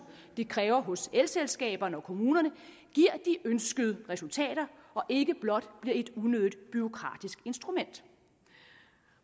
det kræver hos elselskaberne og kommunerne giver de ønskede resultater og ikke blot bliver et unødigt bureaukratisk instrument